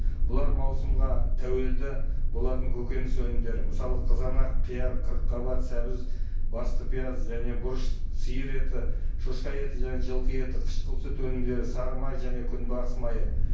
бұлар маусымға тәуелді болатын көгөніс өнімдері мысалы қызанақ қияр қырыққабат сәбіз басты пияз және бұрыш сиыр еті шошқа еті және жылқы еті қышқыл сүт өнімдері сары май және күнбағыс майы